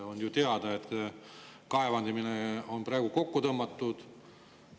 On ju teada, et kaevandamine on praegu kokku tõmmatud.